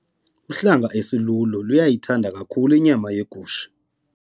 Uhlanga esilulo luyithanda kakhulu inyama yegusha.